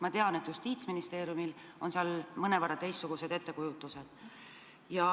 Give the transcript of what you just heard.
Ma tean, et Justiitsministeeriumil on mõnevõrra teistsugune ettekujutus.